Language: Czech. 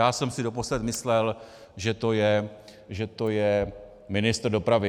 Já jsem si doposud myslel, že to je ministr dopravy.